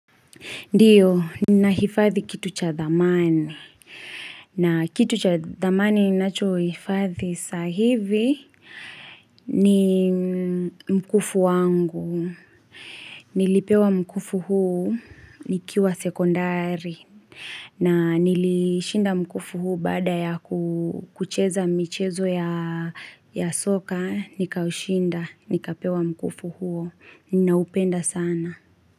Ndiyo, ni na hifadhi kitu cha dhamani. Na kitu cha dhamani ninacho hifadhi sahivi ni mkufu wangu. Nilipewa mkufu huu, nikiwa sekondari. Na nilishinda mkufu huu baada ya kucheza michezo ya soka, nikaushinda, nikapewa mkufu huu. Ninaupenda sana.